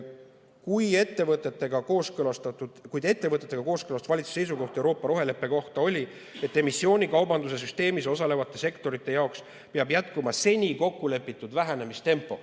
kuid ettevõtjatega kooskõlastatud valitsuse seisukoht Euroopa roheleppe kohta oli, et emissioonikaubanduse süsteemis osalevate sektorite jaoks peab jätkuma seni kokkulepitud vähenemistempo.